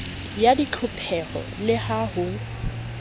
ya ditlhopheho le ha ho